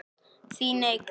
Þín Eygló.